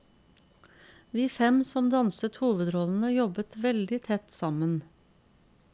Vi fem som danset hovedrollene, jobbet veldig tett sammen.